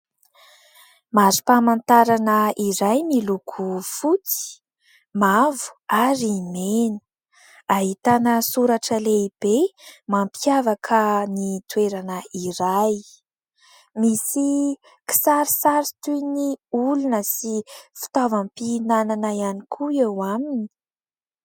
Marim-pamantarana iray miloko fotsy , mavo , ary mena. Ahitana soratra lehibe mampiavaka ny toerana iray. Misy kisarisary toy ny olona sy fitaovam-pihinanana ihany koa eo aminy.